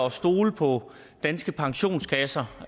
at stole på danske pensionskasser